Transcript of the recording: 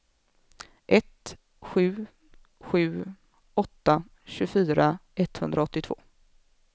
ett sju sju åtta tjugofyra etthundraåttiotvå